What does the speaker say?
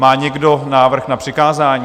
Má někdo návrh na přikázání?